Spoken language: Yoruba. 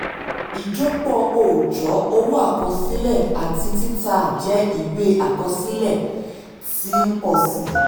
ijọpọ ọjọ́ owó àkọsílẹ̀ àti títà jẹ́ ìwé àkọsílẹ̀ tí ń pọ̀ sí i.